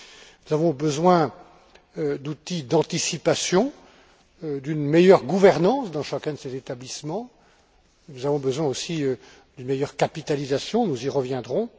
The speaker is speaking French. Nous avons besoin d'outils d'anticipation, d'une meilleure gouvernance dans chacun de ces établissements. Nous avons besoin aussi d'une meilleure capitalisation nous y reviendrons.